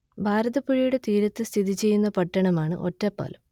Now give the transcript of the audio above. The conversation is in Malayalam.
ഭാരതപ്പുഴയുടെ തീരത്ത് സ്ഥിതി ചെയ്യുന്ന പട്ടണമാണ് ഒറ്റപ്പാലം